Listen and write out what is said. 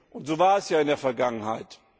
Und so war es ja in der Vergangenheit.